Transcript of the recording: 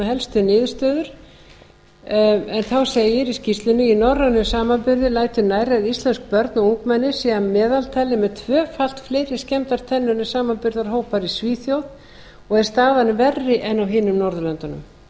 helstu niðurstöður þá segir í skýrslunni í norrænum samanburði lætur nærri að íslensk börn og ungmenni séu að meðaltali með tvöfalt fleiri skemmdar tennur en samanburðarhópar í svíþjóð og er staðan verri en á hinum norðurlöndunum hjá tólf ára barni